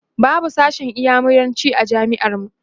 babu sashen inyamuranci a jami'ar mu